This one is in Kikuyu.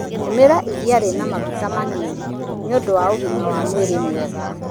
Tũmĩra iria rina maguta manini nĩ ũndũ wa ũgima wa mwĩrĩ mwega.